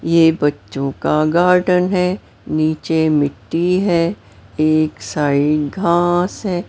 ये बच्चों का गार्डन है नीचे मिट्टी है एक साइड घांस है।